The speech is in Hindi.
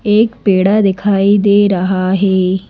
एक पेड़ा दिखाई दे रहा है।